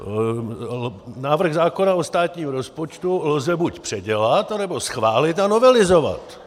Návrh zákona o státním rozpočtu lze buď předělat, anebo schválit a novelizovat.